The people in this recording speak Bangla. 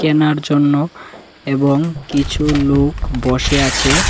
কেনার জন্য এবং কিছু লুক বসে আছে।